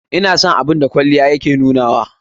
Ina son abun da kwalliya ya ke nunawa a ni.